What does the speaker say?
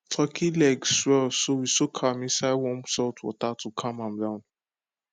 turkey leg swell so we soak am inside warm salt water to calm am down